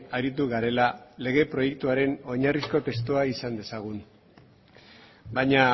aritu garela lege proiektuaren oinarrizko testua izan dezagun baina